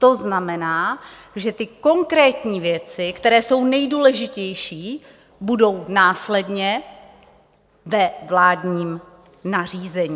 To znamená, že ty konkrétní věci, které jsou nejdůležitější, budou následně ve vládním nařízení.